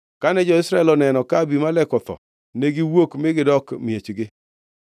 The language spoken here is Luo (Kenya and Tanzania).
Kane jo-Israel oneno ka Abimelek otho, ne giwuok mi gidok e miechgi.